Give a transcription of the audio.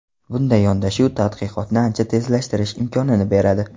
Bunday yondashuv tadqiqotni ancha tezlashtirish imkonini beradi.